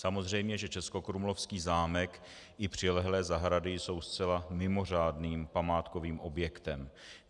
Samozřejmě že českokrumlovský zámek i přilehlé zahrady jsou zcela mimořádným památkovým objektem.